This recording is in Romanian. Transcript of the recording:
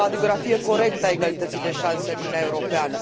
Este o radiografie corectă a egalității de șanse în Uniunea Europeană.